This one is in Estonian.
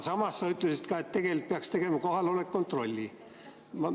Samas sa ütlesid, et tegelikult peaks tegema ka kohaloleku kontrolli.